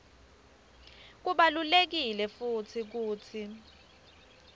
kubalulekile futsi kutsi